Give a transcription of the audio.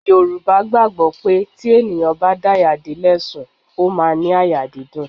Yorùbá gbàgbó pé tí èèyàn bá daya dé lè sùn, ó máa ní àyà dídùn.